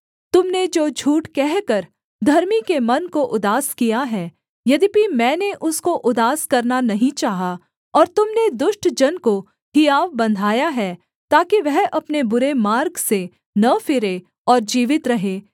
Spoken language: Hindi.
तुम ने जो झूठ कहकर धर्मी के मन को उदास किया है यद्यपि मैंने उसको उदास करना नहीं चाहा और तुम ने दुष्ट जन को हियाव बन्धाया है ताकि वह अपने बुरे मार्ग से न फिरे और जीवित रहे